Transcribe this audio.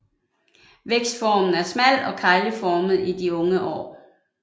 Vækstformen er smal og kegleformet i de unge år